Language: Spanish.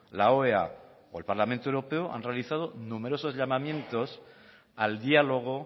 la oea o el parlamento europeo han realizado numerosos llamamientos al diálogo